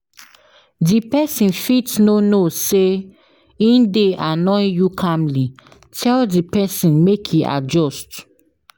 Di persin fit no know sey in de annoy you calmly tell di persin make in adjust